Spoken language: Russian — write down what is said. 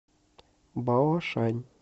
баошань